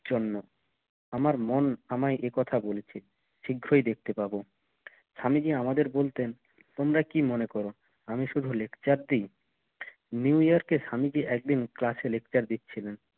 জন্ম আমার মন আমায় এই কথা বলেছে শিগ্রই দেখতে পাবো স্বামীজি আমাদের বলতেন তোমরা কি মনে করো? আমি শুধু lecture দেই? নিউ ইয়র্ক কে স্বামীজি একদিন class এ lecture দিচ্ছিলেন